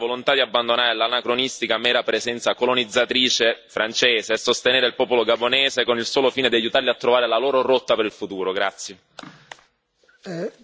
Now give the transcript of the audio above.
Sarebbe importante dimostrare, da parte dell'Unione europea, la volontà di abbandonare l'anacronistica mera presenza colonizzatrice francese e sostenere il popolo gabonese con il solo fine di aiutarlo a trovare la sua rotta per il futuro.